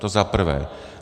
To za prvé.